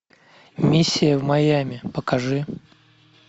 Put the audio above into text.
миссия в майами покажи